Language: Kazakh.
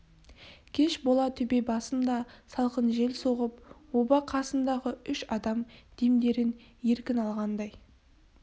кеш бола төбе басында салқын жел соғып оба қасындағы үш адам демдерін еркін алғандай